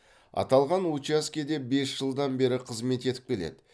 аталған учаскеде бес жылдан бері қызмет етіп келеді